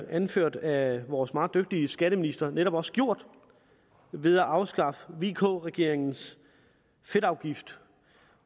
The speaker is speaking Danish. anført af vores meget dygtige skatteminister netop også gjort ved at afskaffe vk regeringens fedtafgift